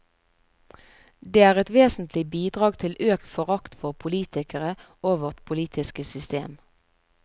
Det er et vesentlig bidrag til økt forakt for politikere og vårt politiske system.